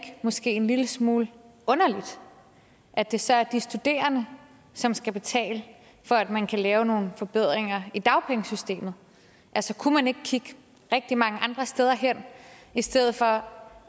måske en lille smule underligt at det så er de studerende som skal betale for at man kan lave nogle forbedringer i dagpengesystemet altså kunne man ikke kigge rigtig mange andre steder hen i stedet for